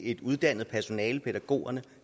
et uddannet personale til pædagogerne